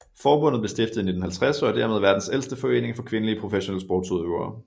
Forbundet blev stiftet i 1950 og er dermed verdens ældste forening for kvindelige professionelle sportsudøvere